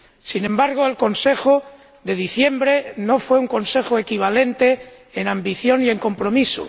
Sin embargo, el Consejo de diciembre no fue un Consejo equivalente en ambición y en compromiso.